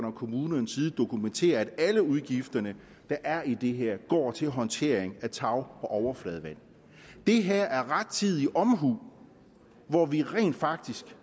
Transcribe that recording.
og kommunernes side dokumentere at alle de udgifter der er i det her går til håndtering af tag og overfladevand det her er rettidig omhu hvor vi rent faktisk